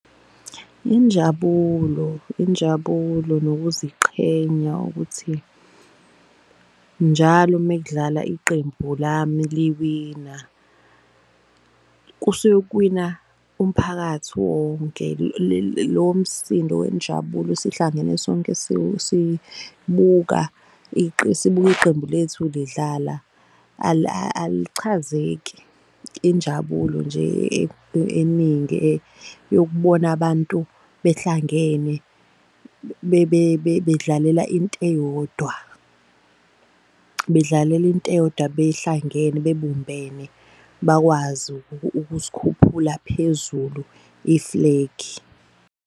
Injabulo, injabulo nokuziqhenya ukuthi njalo mekudlala iqembu lami liwina kusuke kuwina umphakathi wonke. Lowo msindo wenjabulo sihlangene sonke sibuka iqembu lethu lidlala alichazeki. Injabulo nje eningi yokubona abantu behlangene bedlalela into eyodwa. Bedlalela into eyodwa behlangene, bebumbene bakwazi ukusikhuphula phezulu iflegi.